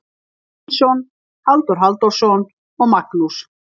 Sveinsson, Halldór Halldórsson og Magnús